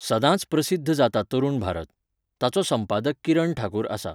सद्दांच प्रसिध्द जाता तरूण भारत. ताचो संपादक किरण ठाकूर आसा.